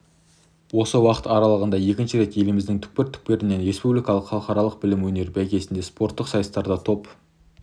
осы уақыт аралығында екінші рет еліміздің түкпір-түкпірінен республикалық халықаралық білім өнер бәйгесінде спорттық сайыстарда топ